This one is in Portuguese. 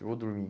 E vou dormir.